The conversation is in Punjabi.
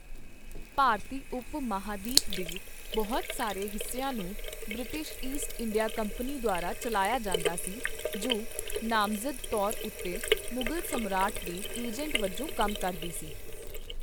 ਭਾਰਤੀ ਉਪ ਮਹਾਂਦੀਪ ਦੇ ਬਹੁਤ ਸਾਰੇ ਹਿੱਸਿਆਂ ਨੂੰ ਬ੍ਰਿਟਿਸ਼ ਈਸਟ ਇੰਡੀਆ ਕੰਪਨੀ ਦੁਆਰਾ ਚੱਲਾਇਆ ਜਾਂਦਾ ਸੀ, ਜੋ ਨਾਮਜ਼ਦ ਤੌਰ ਉੱਤੇ ਮੁਗਲ ਸਮਰਾਟ ਦੇ ਏਜੰਟ ਵਜੋਂ ਕੰਮ ਕਰਦੀ ਸੀ।